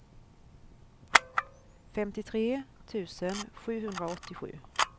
femtiotre tusen sjuhundraåttiosju